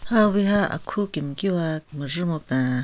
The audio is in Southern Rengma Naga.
Hawiha akhu kemkiwa mejhe mupen.